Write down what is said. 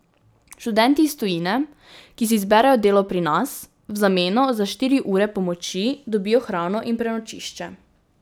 Študenti iz tujine, ki si izberejo delo pri nas, v zameno za štiri ure pomoči dobijo hrano in prenočišče.